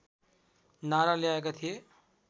नारा ल्याएका थिए